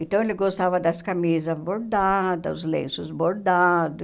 Então, ele gostava das camisas bordada, do lenços bordados.